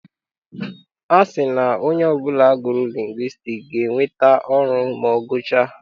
A sị na onye ọbụla gụrụ lingwistiks ga-enweta ọrụ ma ọ gụchaa.